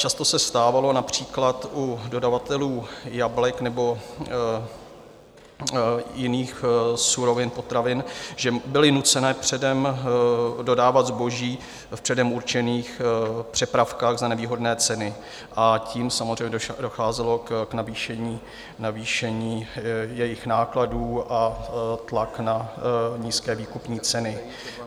Často se stávalo například u dodavatelů jablek nebo jiných surovin, potravin, že byli nuceni předem dodávat zboží v předem určených přepravkách za nevýhodné ceny, a tím samozřejmě docházelo k navýšení jejich nákladů a tlaku na nízké výkupní ceny.